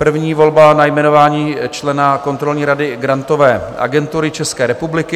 První volba - na jmenování člena kontrolní rady Grantové agentury České republiky.